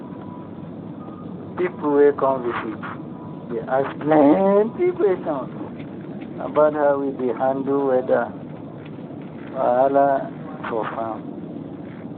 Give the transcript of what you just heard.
pipu wey come visit dey ask plenty questions about how we dey handle weather wahala for farm.